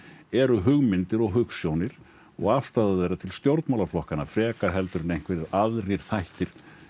eru hugmyndir og hugsjónir og afstaða þeirra til stjórnmálaflokkanna frekar en einhverjir aðrir þættir